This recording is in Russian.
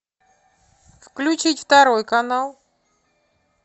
включить второй канал